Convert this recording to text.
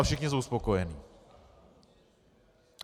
A všichni jsou spokojeni.